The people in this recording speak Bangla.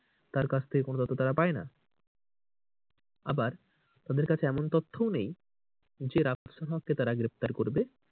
তার কাছ থেকে কোনো তথ্য তারা পায়না। আবার তাদের কাছে এমন তথ্যও নেই যে রাফসান হক কে তারা গ্রেফতার করবে।